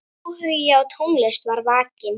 Áhugi á tónlist var vakinn.